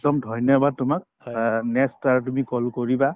একদম ধন্যবাদ তোমাক অ next বাৰ তুমি call কৰিবা